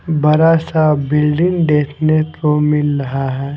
बड़ा सा बिल्डिंग देखने को मिल रहा है।